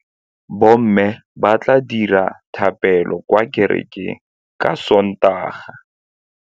Bommê ba tla dira dithapêlô kwa kerekeng ka Sontaga.